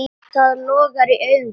Það logar í augum þínum.